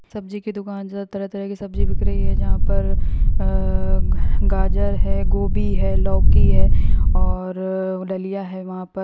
सब्जी की दुकान जो है तरह तरह की सब्जी बिक रही है जहाँ पर अअअअ गाजर है गोभी लौकी है और डलिया है वहाँ पर--